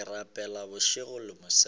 ke rapela bošego le mosegare